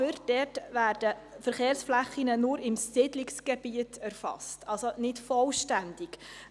Aber es werden nur die Verkehrsflächen im Siedlungsgebiet erfasst und nicht vollständig.